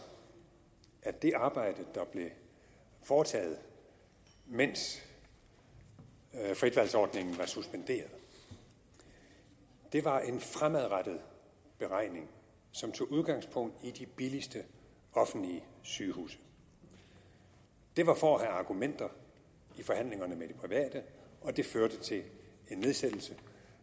at det arbejde der blev foretaget mens fritvalgsordningen var suspenderet var en fremadrettet beregning som tog udgangspunkt i de billigste offentlige sygehuse det var for at have argumenter i forhandlingerne med de private og det førte til en nedsættelse